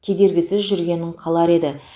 кедергісіз жүргенін қалар еді